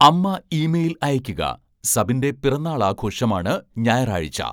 അമ്മ ഇമെയിൽ അയയ്ക്കുക സബിൻ്റെ പിറന്നാൾ ആഘോഷം ആണ് ഞായറാഴ്ച